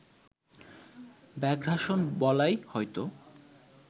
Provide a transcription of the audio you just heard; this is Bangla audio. ব্যাঘ্রাসন বলাই হয়তো